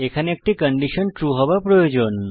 এখানে একটি condition true হওয়া প্রয়োজন